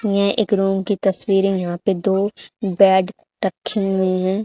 ये एक रुम की तसवीर है यहां पे दो बेड रखे हुए हैं।